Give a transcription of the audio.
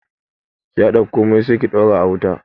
Ki haɗa komai sai ki daura a wuta